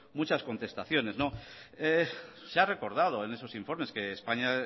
muchas contestaciones se ha recordado en esos informes que españa